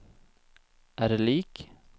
er lik